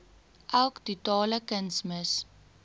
elk totale kunsmis